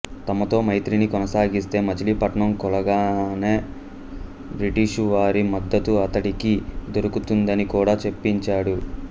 తమతో మైత్రిని కొనసాగిస్తే మచిలీపట్నం కూలగానే బ్రిటిషు వారి మద్దతు అతడికి దొరుకుతుందని కూడా చెప్పించాడు